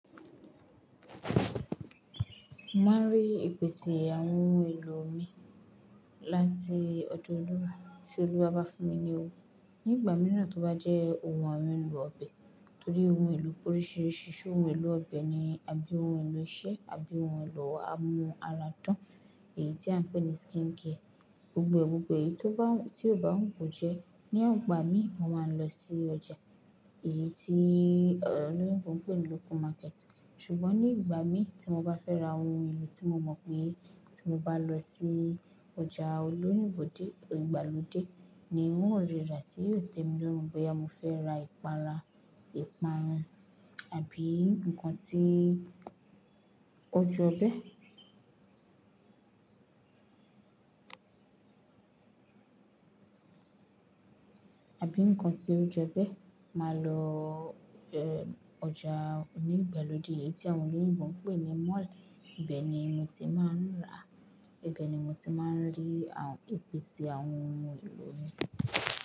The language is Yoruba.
Má rí ìpè tí àwọn ohun èlò mi láti ọdọ Olúwa tí Olúwa bá fún mi ní owó. Ní ìgbà mìíràn tó bá jẹ́ ohun awon èlò ọbẹ̀, torí ohun èlò oríṣiríṣi ṣé ohun èlò ọbẹ̀ ni àbí ohun èlò iṣẹ́, àbí ohun èlò àmú ara dán, èyí tí à ń pè ní skincare. Gbogbo gbogbo èyí tó bá ti o bá hun ko jẹ ní igbà mi, mo máa ń lọ sí ọjà. Èyí tí olóyìnbo ń pè ní local market. Ṣùgbọ́n ní ìgbà mi tí mo bá fẹ́ ra ohun èlò tí mo mọ̀ pé tí mo bá lọ sí ọjà olóyìnbo dé ìgbàlódé ni wọn ó rira tí yóò tẹ́ mi lórùn bóyá mo fẹ́ ra ìpara, ìparun, àbí ǹkan tí ojọbẹ̀. Àbí ǹkan tí ó jobẹ̀, màá lọ e ọjà onígbàlódé èyí tí àwọn olóyìnbo ń pè ní mall. Ibẹ́ ni mo ti máa ń rà, ibẹ̀ ni mo ti máa ń rí àwọn ìpèse àwọn ohun èlò mi.